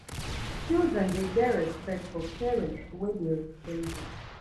children dey get respect for parents wey dey dem